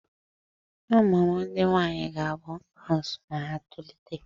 Ụmụ m ndị nwaanyị ga-abụ nọọsụ ma ha tolite.